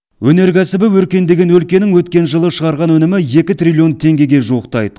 өнеркәсібі өркендеген өлкенің өткен жылы шығарған өнімі екі триллион теңгеге жуықтайды